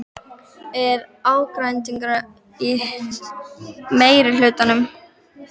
Er ágreiningur í meirihlutanum?